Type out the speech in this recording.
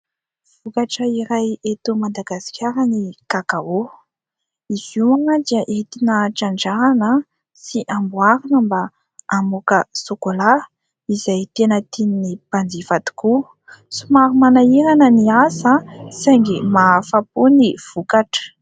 Vokatra iray eto Madagasikara ny Kakao, izy io dia entina trandrahana sy amboarina mba hamoaka sôkôla izay tena tian'ny mpanjifa tokoa, somary manahirana ny asa saingy mahafa-po ny vokatra.